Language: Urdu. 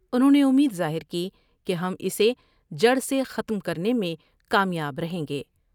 انہوں نے امید ظاہر کی کہ ہم اسے جڑ سے ختم کرنے میں کامیاب رہیں گے ۔